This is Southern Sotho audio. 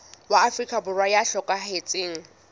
wa afrika borwa ya hlokahetseng